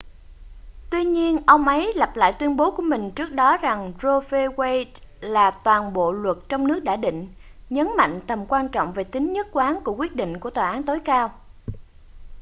tuy nhiên ông ấy lập lại tuyên bố của mình trước đó rằng roe v wade là toàn bộ luật trong nước đã định nhấn mạnh tầm quan trọng về tính nhất quán của quyết định của tòa án tối cao